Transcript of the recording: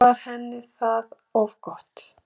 Var henni það of gott?